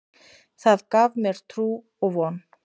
Það gaf mér trú og von.